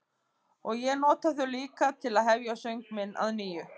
Og ég nota þau líka til að hefja söng minn að nýju.